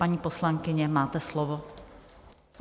Paní poslankyně, máte slovo.